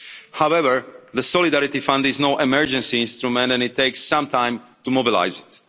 However, the Solidarity Fund is no emergency instrument and it takes some time to mobilise